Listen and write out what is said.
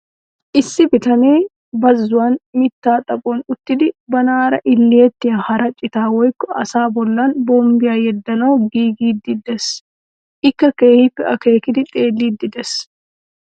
Issi bitanee bazzuwan mittaa xaphon uttidi banaara ilettiya hara citaa woykko asaa bollan bombbiya yeddanawu giigiiddi de'ees. Ikka keehippe akeekidi xeelliiddi de'ees.